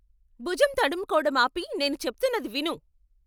బుజం తడుముకోవడం ఆపి నేను చెప్తున్నది విను!